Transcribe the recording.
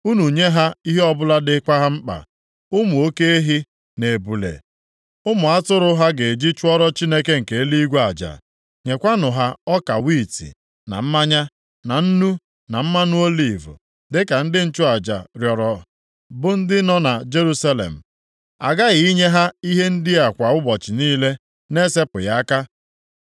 Unu nye ha ihe ọbụla dịkwa ha mkpa, ụmụ oke ehi na ebule, ụmụ atụrụ, ha ga-eji chụọrọ Chineke nke eluigwe aja. Nyekwanụ ha ọka wiiti, na mmanya, na nnu, na mmanụ oliv, dịka ndị nchụaja rịọrọ, bụ ndị nọ na Jerusalem, aghaghị inye ha ihe ndị a kwa ụbọchị niile na-esepụghị aka.